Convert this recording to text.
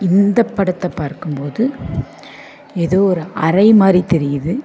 இந்த படத்த பார்க்கும் போது எதோ ஒரு அறை மாரி தெரியுது.